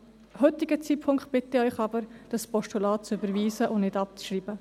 Zum heutigen Zeitpunkt bitte ich Sie aber, das Postulat zu überweisen und es nicht abzuschreiben.